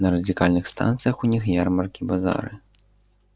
на радикальных станциях у них ярмарки базары